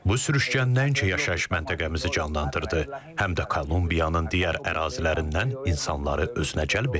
Bu sürüşkən nəinki yaşayış məntəqəmizi canlandırdı, həm də Kolumbiyanın digər ərazilərindən insanları özünə cəlb etdi.